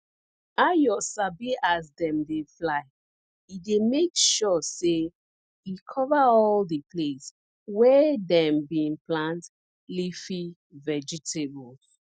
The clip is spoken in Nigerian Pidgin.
ayo sabi as dem dey fly e dey make sure say e cover all di place wey dem bin plant leafy vegetables